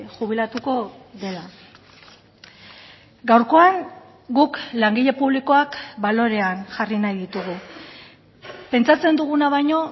jubilatuko dela gaurkoan guk langile publikoak balorean jarri nahi ditugu pentsatzen duguna baino